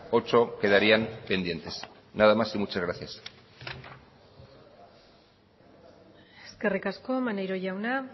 ocho quedarían pendientes nada más y muchas gracias eskerrik asko maneiro jauna